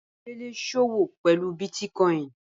Bamidele ń sọ́wọ́ pẹ̀lú Biiticoin.